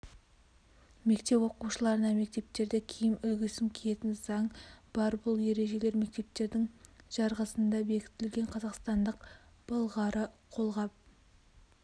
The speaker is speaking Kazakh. мектеп оқушыларына мектептерде киім үлгісін киетін заң бар бұл ережелер мектептердің жарғысында бекітілген қазақстандық былғары қолғап